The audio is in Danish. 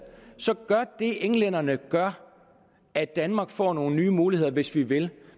så gør det englænderne gør at danmark får nogle nye muligheder hvis vi vil